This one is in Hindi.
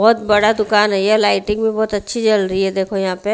बहुत बड़ा दुकान है ये लाइटिंग भी बहुत अच्छी जल रही है देखो यहां पे--